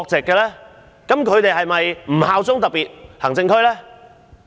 這樣他們是否不效忠特別行政區？